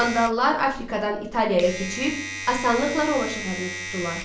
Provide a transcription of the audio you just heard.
Vandallar Afrikadan İtaliyaya keçib, asanlıqla Roma şəhərini tutdular.